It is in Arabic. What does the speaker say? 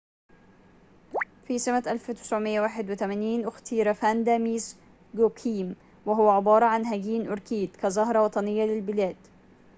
في سمة 1981 اختير فاندا ميس جوكويم وهو عبارة عن هجين أوركيد كزهرة وطنية للبلاد